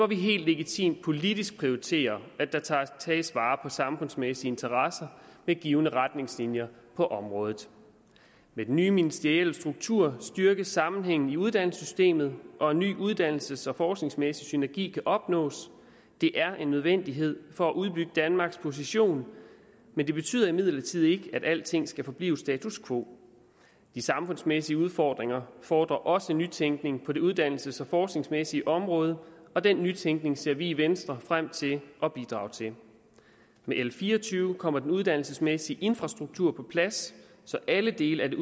vi helt legitimt politisk prioriterer at der tages vare samfundsmæssige interesser ved givne retningslinjer på området med den nye ministerielle struktur styrkes sammenhængen i uddannelsessystemet og en ny uddannelses og forskningsmæssig synergi kan opnås det er en nødvendighed for at udbygge danmarks position men det betyder imidlertid ikke at alting skal forblive status quo de samfundsmæssige udfordringer fordrer også nytænkning på det uddannelses og forskningsmæssige område og den nytænkning ser vi i venstre frem til at bidrage til med l fire og tyve kommer den uddannelsesmæssige infrastruktur på plads så alle dele af